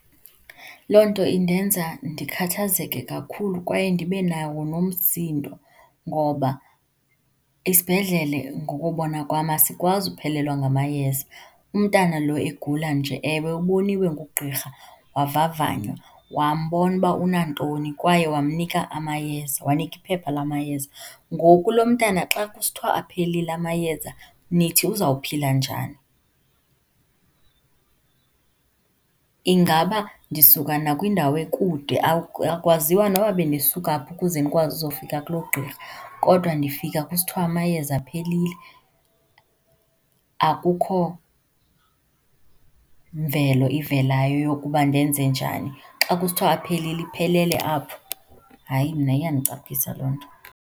Loo nto indenza ndikhathazeke kakhulu kwaye ndibe nawo nomsindo ngoba isibhedlele ngokubona kwam, asikwazi uphelelwa ngamayeza. Umntana lo egula nje, ewe uboniwe ngugqirha, wavavanywa, wambona ukuba unantoni, kwaye wamnika amayeza wanika iphepha lamayeza. Ngoku lo mntana xa kusithiwa aphelile amayeza, nithi uzawuphila njani? Ingaba ndisuka nakwindawo ekude akwaziwa noba bendisuka phi ukuze ndikwazi ukuzofika kulo gqirha, kodwa ndifika kusithiwa amayeza aphelile. Akukho mvelo ivelayo yokuba ndenze njani. Xa kusithiwa aphelile, iphelele apho? Hayi, mna iyandicapukisa loo nto.